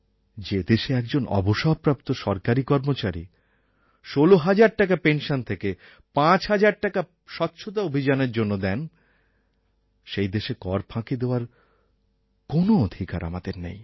যে দেশে একজন অবসরপ্রাপ্ত সরকারী কর্মচারী ১৬০০০ টাকা পেনশন থেকে ৫০০০ টাকা স্বচ্ছতা অভিযানএর জন্য দেন সেই দেশে কর ফাঁকি দেওয়ার কোনও অধিকার আমাদের নেই